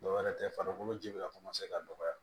Dɔw wɛrɛ tɛ farikolo ji bɛ ka ka dɔgɔya